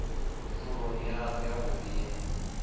ni pfuloni yanu yavhudi ye